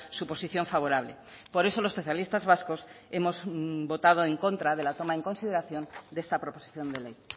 su posición favorable por eso los socialistas vascos hemos votado en contra de la toma en consideración de esta proposición de ley